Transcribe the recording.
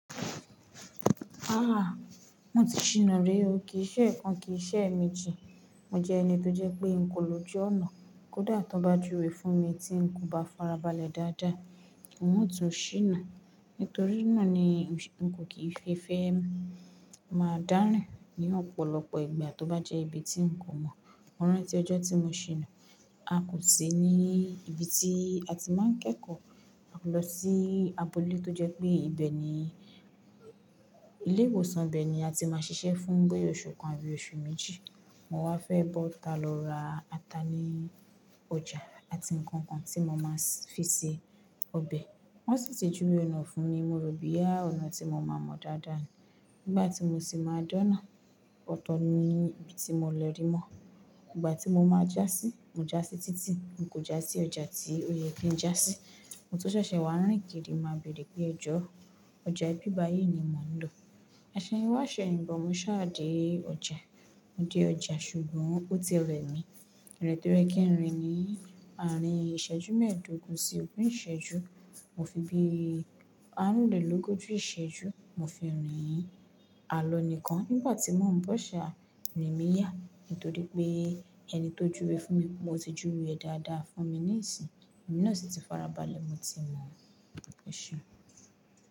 Rárá, mo ti ṣìnà rí. Ó kì í ṣe ẹ̀ẹ̀kan, kì í ṣe èemíji. Mo jẹ́ ẹni tó jẹ́ pé n kò lójú ọ̀nà. Kódà tó bá júwe fún mi tí n kò bá farabalẹ̀ dáadáa, n ó tún ṣìnà. Nítorí náà ni n kò kìí fi ìfẹ́ mi máa dárìn ní ọ̀pọ̀lọpọ̀ ìgbà tó bá jẹ́ ibi tí n kò mọ̀. Mọ́rán ti ọjọ́ tí mo ṣìnà, a kò sí ní ibi tí a ti máa ń kẹ́kọ̀ọ́. A lọ sí abọ́lé tó jẹ́ pé ibẹ̀ ni ilé ìwòsàn, bẹ̀ ni a ti máa ń ṣiṣẹ́ fún boya oṣù kan àbí oṣù méjì. Mo wá fẹ́ bọ́ta lọ ra ata ní ọjà àti nǹkan kan tí mo máa fi ṣe ọbẹ̀. Wọ́n sì ti júwe ọ̀nà fún mi, mo rò bí yá ọ̀nà tí mo máa mọ̀ dáadáa ni. Nígbà tí mo sì máa dáná, ọ̀tọ̀ ni ibi tí mo lọ rí mọ́. Ìgbà tí mo máa já sí, mo já sí títì, n kò já sí ọjà tí ó yẹ kí n já sí. Ohun tó ṣẹ̀ṣẹ̀ wà ní ìgèrè máa bèrè pé ẹ̀jọ́, ọjà ìbìbá yìí ni mò ń lọ. "Aṣẹ́ni wá ṣẹ̀yìn bọ̀," mo ṣá dé ọjà. Mo dé ọjà ṣùgbọ́n ó ti rẹmi. Ìrèín ti oyeẹ kí ń rìn ní àárín ìṣẹ́jú mẹ́ẹ̀dógún sí ogún ìṣẹ́jú. Mo fi bí àárúnlélógójì ìṣẹ́jú, mo fi rìn. Àlọ́ nìkan nígbà tí wọ́n ń bọ̀ ṣá, irin mi yà. Nítorí pé ẹni tó júwe fún mi, mo ti júwe dáadáa fún mi ní ìsìn. Ẹ̀mí náà sì ti farabalẹ̀, mo ti mọ̀. Ẹ̀ṣùn.